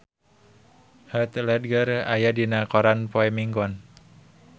Heath Ledger aya dina koran poe Minggon